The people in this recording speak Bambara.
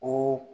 Ko